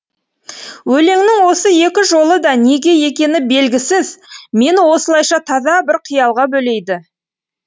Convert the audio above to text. өлеңнің осы екі жолы да неге екені белгісіз мені осылайша таза бір қиялға бөлейді